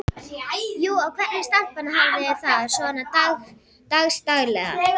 Jú, og hvernig stelpan hefði það svona dags daglega.